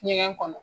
Ɲɛgɛn kɔnɔ